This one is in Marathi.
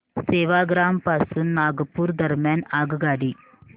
सेवाग्राम पासून नागपूर दरम्यान आगगाडी